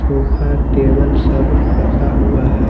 सोखा टेबल सब फसा हुआ है।